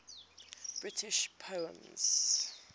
british poems